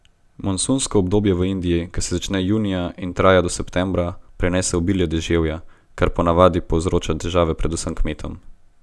Monsunsko obdobje v Indiji, ki se začne junija in traja do septembra, prinese obilje deževja, kar po navadi povzroča težave predvsem kmetom.